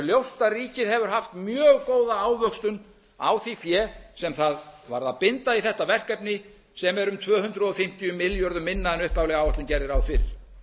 ljóst að ríkið hefur haft mjög góða ávöxtun á því fé sem það varð að binda í þetta verkefni sem er um tvö hundruð fimmtíu milljörðum minna en upphafleg áætlun gerði ráð fyrir